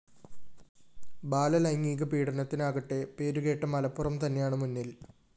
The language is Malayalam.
ബാലലൈംഗിക പീഡനത്തിനാകട്ടെ പേരുകേട്ട മലപ്പുറം തന്നെയാണ് മുന്നില്‍